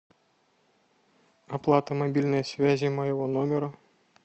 оплата мобильной связи моего номера